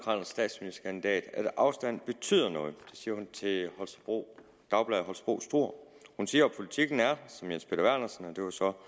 statsministerkandidat at afstand betyder noget det siger hun til dagbladet holstebro struer hun siger at politikken er som herre jens peter vernersen det var så